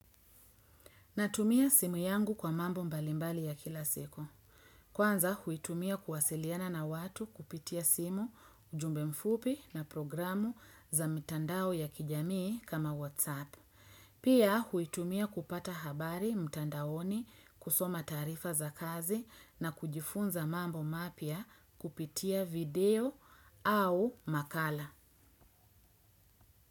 Natumia simu yangu kwa mambo mbalimbali ya kila siku. Kwanza, huitumia kuwasiliana na watu kupitia simu, ujumbe mfupi na programu za mtandao ya kijamii kama WhatsApp. Pia, huitumia kupata habari mtandaoni kusoma tarifa za kazi na kujifunza mambo mapya kupitia video au makala.